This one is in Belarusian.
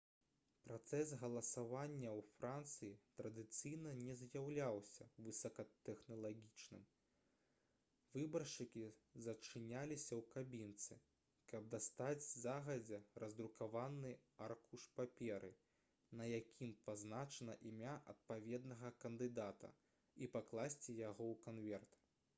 працэс галасавання ў францыі традыцыйна не з'яўляўся высокатэхналагічным выбаршчыкі зачыняліся ў кабінцы каб дастаць загадзя раздрукаваны аркуш паперы на якім пазначана імя адпаведнага кандыдата і пакласці яго ў канверт